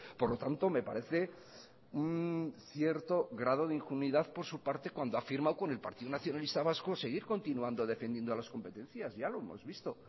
por lo tanto me parece un cierto grado de ingenuidad por su parte cuando ha firmado con el partido nacionalista vasco seguir continuando defendiendo a las competencias ya lo hemos visto